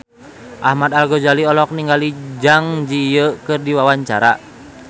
Ahmad Al-Ghazali olohok ningali Zang Zi Yi keur diwawancara